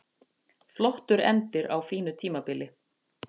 Flottur endir á fínu tímabili